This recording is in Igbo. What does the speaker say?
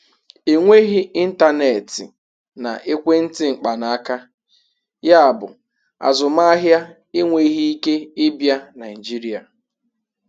Enweghị ịntanetị na ekwentị mkpanaaka, yabụ azụmaahịa enweghị ike ịbịa Nigeria.